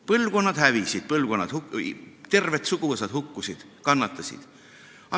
Põlvkonnad hävisid, terved suguvõsad hukkusid, kannatasid.